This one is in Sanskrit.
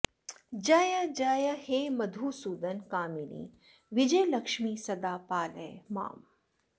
जयजय हे मधुसूदन कामिनि विजयलक्ष्मि सदा पालय माम्